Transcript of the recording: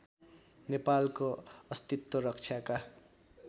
नेपालको अस्तित्व रक्षाका